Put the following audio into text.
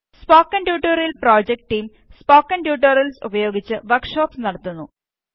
spoken tutorial project team spoken tutorials ഉപയോഗിച്ച് workshops നടത്തുന്നു